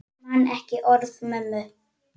Man ekki orð mömmu.